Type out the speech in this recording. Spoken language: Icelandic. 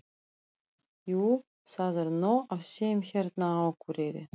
Jú, það er nóg af þeim hérna á Akureyri.